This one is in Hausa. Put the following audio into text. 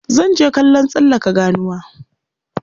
Zan je kallon tsallaka ganuwa.